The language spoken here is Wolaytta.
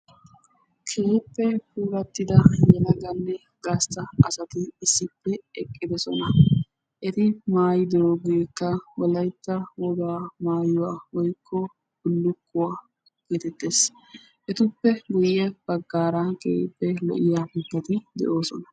Keehippe puulattida yelaganne gastta asati issippe eqqidosona. Eti maayidoogeekka wolayitta wogaa mayuwa woyikko bullukkuwa geetettes. Etuppe guyye baggaara keehippe lo'iya mittati de'oosona.